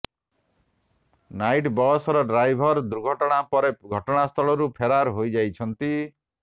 night bus ର driver ଦୁର୍ଘଟଣା ପରେ ଘଟଣାସ୍ଥଳରୁ ଫେରାର ହୋଇଯାଇଛନ୍ତି